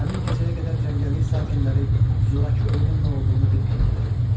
Həmin gecəyə qədər cəngəllik sakinləri zorakı ölümün nə olduğunu bilmirdilər.